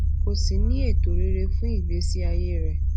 kó sì ní ètò rere fún ìgbésí ayé rẹ